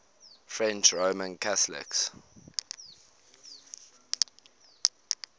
french roman catholics